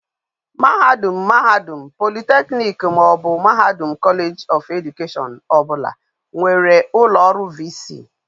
Mahadum, mahadum polytechnic maobu mahadum college of education obula nwere ulo oru VC